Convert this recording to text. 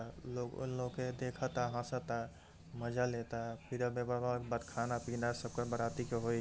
लोग उन लोग के देखता हंसता मजा लेता। फिर खाना-पीना बाराती को होई।